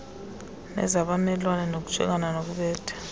nezabamelwane nokujongana nokubetha